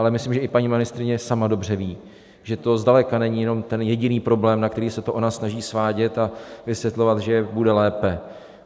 Ale myslím, že i paní ministryně sama dobře ví, že to zdaleka není jenom ten jediný problém, na který se to ona snaží svádět a vysvětlovat, že bude lépe.